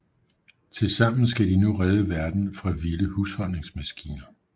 Tilsammen skal de nu redde verden fra vilde husholdningsmaskiner